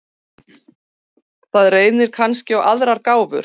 Þar reynir kannski á aðrar gáfur.